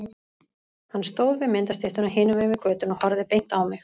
Hann stóð við myndastyttuna hinum megin við götuna og horfði beint á mig.